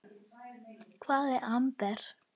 Hvað er amper?